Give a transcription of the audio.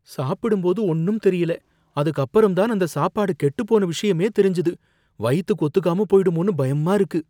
சாப்பிடும் போது ஒன்னும் தெரியல, அதுக்கு அப்புறம் தான் அந்த சாப்பாடு கெட்டுப்போன விஷயமே தெரிஞ்சுது. வயித்துக்கு ஒத்துக்காம போயிடுமோனு பயமா இருக்கு.